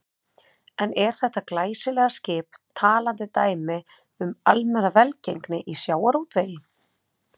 En er þetta glæsilega skip talandi dæmi um almenna velgengni í sjávarútvegi?